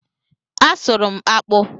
A sụrụ m akpụ